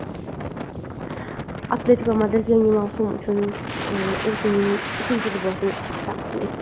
"Atletiko Madrid" yangi mavsum uchun o‘zining uchinchi libosini taqdim etdi.